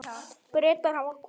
Bretar hafa kosið.